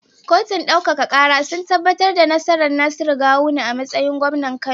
Kotun ɗaukaka kara sun tabbatar da nasarar Nasiru gawuna a matsayin gwamnan kano